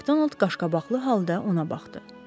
MakDonald qaşqabaqlı halda ona baxdı.